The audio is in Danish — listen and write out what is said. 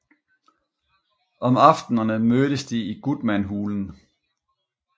Om aftenerne mødtes de i Gutmanhulen